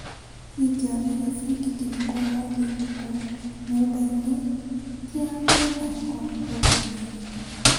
Ingĩona gĩbindi kĩrĩkũ ũmũthĩ ũtukũ nyũmba-inĩ kĩa mĩthako gũkũ Nyĩrĩ?